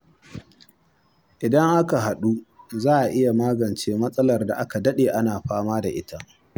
Idan aka haɗu za a iya magance matsalar da aka daɗe ana fama da ita.